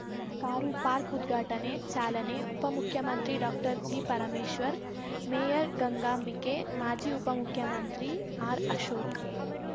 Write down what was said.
car park ಉದ್ಘಾಟನೆ ಚಾಲನೆ ಉಪಮುಖ್ಯಮಂತ್ರಿ ಡಾಕ್ಟರ್ಜಿಪರಮೇಶ್ವರ್‌ ಮೇಯರ್‌ ಗಂಗಾಂಬಿಕೆ ಮಾಜಿ ಉಪಮುಖ್ಯಮಂತ್ರಿ ಆರ್‌ ಅಶೋಕ್